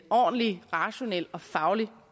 ordentlig rationel og faglig